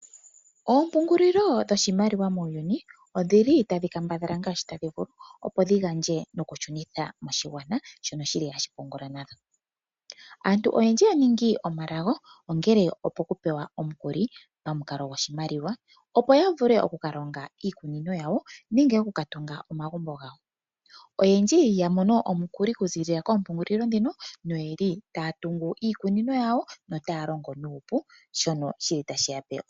Oompungulilo dhoshimaliwa muuyuni odhili tadhi kambadhala ngashi tadhi vulu opo dhigandje noku shunitha moshigwana shono shili hashi pungula. Aantu oyendji ya ningi omalago ongele opuku pewa omukuli pamu kalo goshimaliwa opo ya vule oku kalonga iikunino yawo nenge oku katunga omagumbo gawo. Oyendji yamono omukuli oku zilila kompungulilo dhino noyeli taya tungu iikunino yawo notaya longo nuupu.